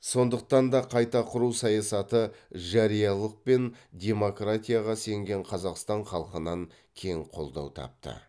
сондықтан да қайта құру саясаты жариялылық пен демократияға сенген қазақстан халқынан кең қолдау тапты